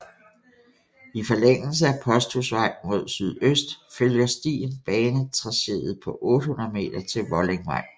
I forlængelse af Posthusvej mod sydøst følger stien banetracéet på 800 meter til Vollingvej